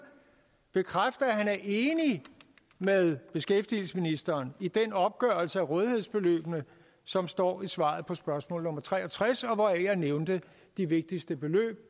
bekræfte at han er enig med beskæftigelsesministeren i den opgørelse af rådighedsbeløbene som står i svaret på spørgsmål nummer tre og tres og hvoraf jeg nævnte de vigtigste beløb